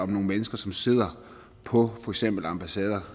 mennesker som sidder på for eksempel ambassader